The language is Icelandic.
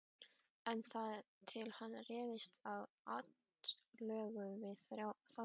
En þar til hann réðist til atlögu við þá þrjóta.